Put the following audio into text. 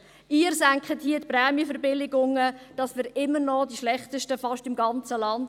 Sie senken hier die Prämienverbilligungen, damit wir im ganzen Land immer noch fast die Schlechtesten sind.